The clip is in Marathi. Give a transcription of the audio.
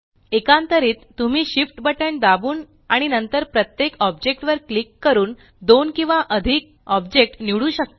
एकांतरित तुम्ही Shift बटण दाबून आणि नंतर प्रत्येक ऑब्जेक्ट वर क्लिक करून दोन किंवा अधिक ऑब्जेक्ट निवडू शकता